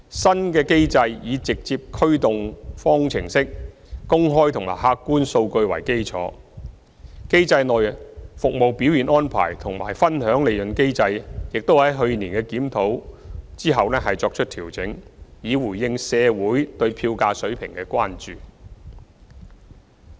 新機制以直接驅動方程式、公開和客觀數據為基礎，機制內"服務表現安排"及"分享利潤機制"，亦在去年檢討後作出調整，以回應社會對票價水平的關注。